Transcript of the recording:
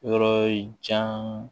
Yɔrɔ jan